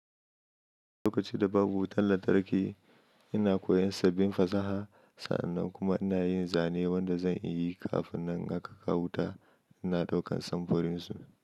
Lokaci da babu wutan lantarki, ina koyon sabbin fasaha. Sa'annan kuma ina yin zane wanda zan yi kafinnan aka kawo wuta. Ina ɗaukan samfurin su.